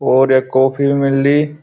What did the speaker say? और यख कोफि भि मिलदीं।